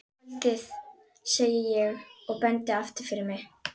Kvöldið, segi ég og bendi aftur fyrir mig.